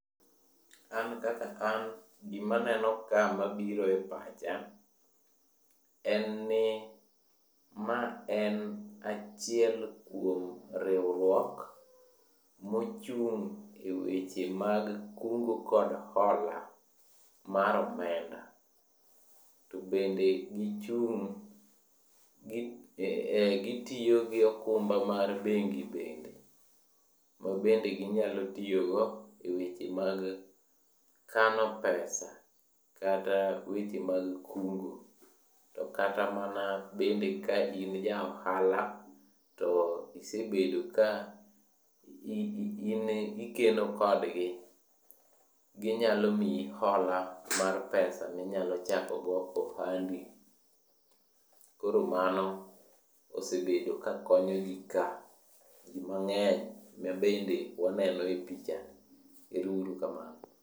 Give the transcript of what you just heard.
An kaka an, gima aneno ka mabiro e pacha, en ni, ma en achiel kuom riwruok mochung' e weche mag kungo kod hola mar omenda, to bende gichung' gi gitiyo gi okumba mar bengi bende, mabende ginyalo tiyo go e weche mag kano pesa kata weche mag kungo. To kata mana bende ka in ja ohala to isebedo ka in ikeno kodgi, ginyalo miyi hola mar pesa minyalo chako go ohandi, koro mano osebedo ka konyo jii ka, jii mang'eny mabende waneno e pichani, ero uru kamano